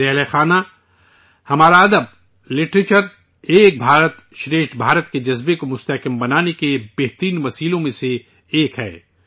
میرے ہم وطنوں، ہمارا ادب، لٹریچر، ایک بھارت شریشٹھ بھارت کے جذبے کو مضبوط کرنے کے سب سے بہترین ذرائع میں سے ایک ہے